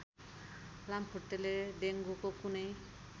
लामखुट्टेले डेङ्गुको कुनै